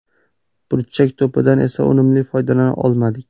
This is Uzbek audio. Burchak to‘pidan esa unumli foydalana olmadik.